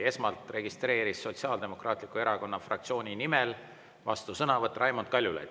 Esmalt registreeris Sotsiaaldemokraatliku Erakonna fraktsiooni nimel vastusõnavõtu Raimond Kaljulaid.